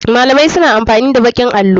Malamai suna amfani da baƙin allo.